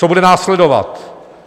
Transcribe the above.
Co bude následovat?